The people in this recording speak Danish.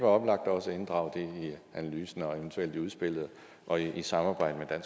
oplagt også at inddrage det i analysen og eventuelt i udspillet og i samarbejde